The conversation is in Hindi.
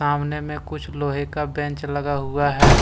आमने में पे कुछ लोहे का बेंच लगा हुआ है।